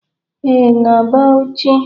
Ee, na Bauchi